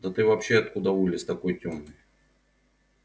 да ты вообще откуда вылез такой тёмный